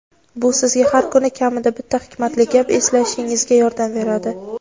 Bu sizga har kuni kamida bitta hikmatli gap eslashingizga yordam beradi.